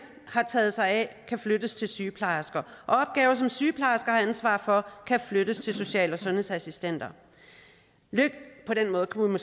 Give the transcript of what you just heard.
har taget sig af kan flyttes til sygeplejersker og opgaver som sygeplejersker har ansvaret for kan flyttes til social og sundhedsassistenter på den måde kunne man